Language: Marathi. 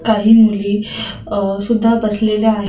काही मुली सुद्धा बसलेले आहेत.